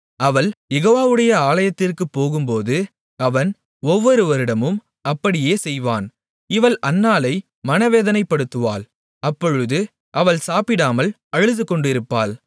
அவள் யெகோவாவுடைய ஆலயத்திற்குப் போகும்போது அவன் ஒவ்வொரு வருடமும் அப்படியே செய்வான் இவள் அன்னாளை மனவேதனைப்படுத்துவாள் அப்பொழுது அவள் சாப்பிடாமல் அழுதுகொண்டிருப்பாள்